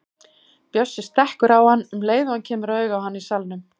Bjössi stekkur á hann um leið og hann kemur auga á hann í salnum.